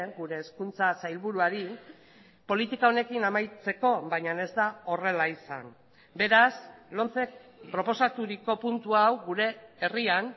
gure hezkuntza sailburuari politika honekin amaitzeko baina ez da horrela izan beraz lomcek proposaturiko puntu hau gure herrian